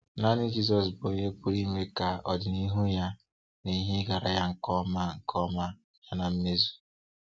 Naanị Jizọs bụ onye pụrụ ime ka ọdịnihu ya na ihe ịgara ya nke ọma nke ọma bịa na mmezu.